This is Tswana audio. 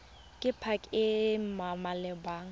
ke pac e e maleba